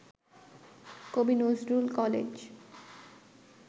কবি নজরুল কলেজ